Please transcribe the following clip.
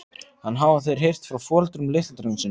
En hafa þeir heyrt frá foreldrum litla drengsins?